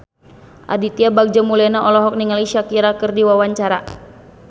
Aditya Bagja Mulyana olohok ningali Shakira keur diwawancara